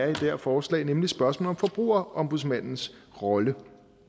det her forslag nemlig spørgsmålet om forbrugerombudsmandens rolle